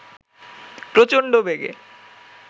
প্রচণ্ড বেগে